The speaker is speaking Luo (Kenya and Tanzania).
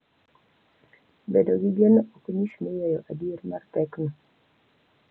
Bedo gi geno ok nyis ni weyo adier mar pekno